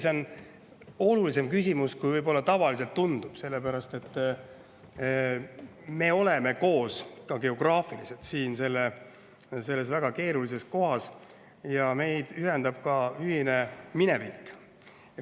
See on olulisem küsimus, kui võib tunduda, sellepärast et me oleme geograafiliselt koos siin väga keerulises kohas ja meid ühendab ühine minevik.